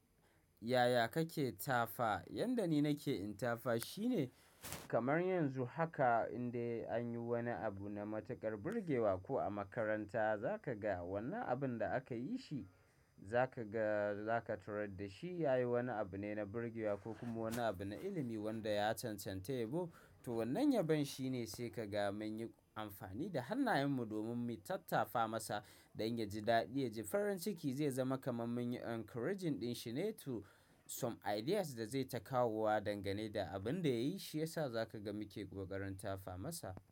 Yaya kake tafa? Yanda ni nake in tafa shine kamar yanzu haka in dai anyi wani abu na matuƙar birgewa ko a makaranta za ka ga wannan abun da aka yi shi za ka ga za ka tarar da shi yayi wani abu ne na birgewa ko kuma wani abu na ilimi wanda ya cancanta yabo. To wannan yabon shi ne sai ka ga mun yi amfani da hannayen mu domin mu tattafa masa don ya ji daɗi ya ji farin ciki zai zama kaman mun yi encouraging din shi ne to some ideas da zai takawo dangane da abun da ya yi shi yasa za ka ga muke ƙoƙarin tafa masa.